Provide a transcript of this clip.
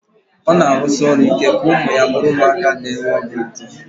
Ọ na-arụsi ọrụ ike ka ụmụ ya bụrụ ụmụaka ga-enwe obi ụtọ